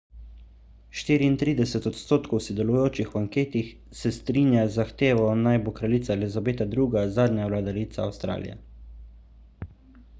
34 odstotkov sodelujočih v anketi se strinja z zahtevo naj bo kraljica elizabeta ii zadnja vladarica avstralije